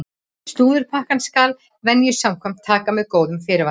Slúðurpakkann skal venju samkvæmt taka með góðum fyrirvara!